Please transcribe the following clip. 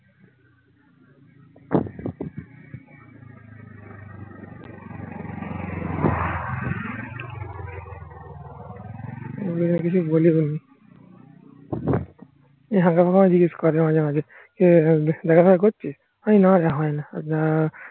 কিছু বলিনি জিজ্ঞেস করে মাঝে মাঝে. দেখাশুনা করছিস হয় না